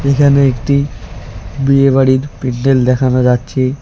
এখানে একটি বিয়ে বাড়ির প্যান্ডেল দেখানো যাচ্ছে।